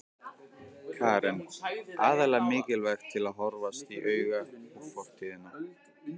Karen: Aðallega mikilvægt til að horfast í augu við fortíðina?